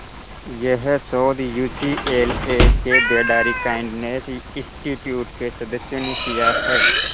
यह शोध यूसीएलए के बेडारी काइंडनेस इंस्टीट्यूट के सदस्यों ने किया है